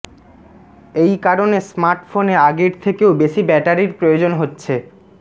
এই কারণে স্মার্টফোনে আগের থেকেও বেশি ব্যাটারির প্রয়োজন হচ্